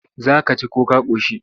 Za ka ci ko ka ƙoshi?